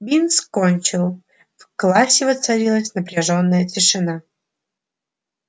бинс кончил в классе воцарилась напряжённая тишина